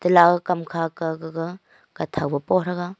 kam kha ka gaga kaw tho po tega.